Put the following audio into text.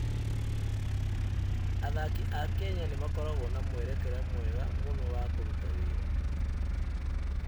Athaki a Kenya nĩ makoragwo na mwerekera mwega mũno wa kũruta wĩra.